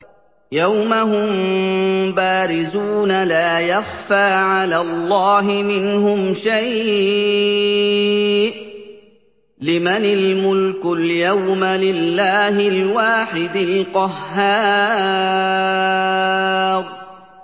يَوْمَ هُم بَارِزُونَ ۖ لَا يَخْفَىٰ عَلَى اللَّهِ مِنْهُمْ شَيْءٌ ۚ لِّمَنِ الْمُلْكُ الْيَوْمَ ۖ لِلَّهِ الْوَاحِدِ الْقَهَّارِ